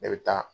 Ne bɛ taa